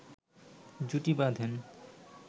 জুটি বাঁধেন